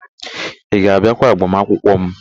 Ị ga-abịakwa agbamakwụkwọ m?